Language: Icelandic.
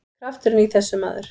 Krafturinn í þessu, maður!